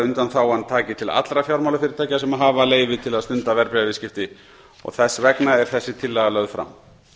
undanþágan taki til allra fjármálafyrirtækja sem hafa leyfi til að stunda verðbréfaviðskipti og þess vegna er þessi tillaga lögð fram